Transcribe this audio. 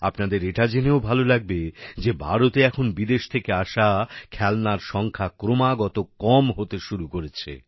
আপনাদের এটা জেনেও ভাল লাগবে যে ভারতে এখন বিদেশ থেকে আসা খেলনার সংখ্যা ক্রমাগত কম হতে শুরু করেছে